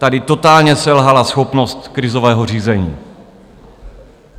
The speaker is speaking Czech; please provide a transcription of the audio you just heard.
Tady totálně selhala schopnost krizového řízení.